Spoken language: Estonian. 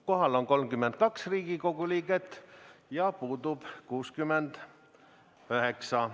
Kohal on 32 Riigikogu liiget ja puudub 69.